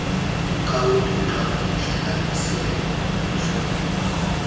akhawunti eqhagamshelaniswe nohlobo